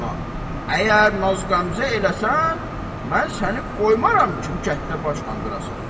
Əgər naz-qəmzə eləsən, mən səni qoymaram ki, bu kənddə baş qaldırasan.